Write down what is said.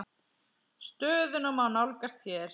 Stöðuna má nálgast hér.